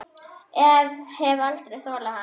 Ég hef aldrei þolað hann.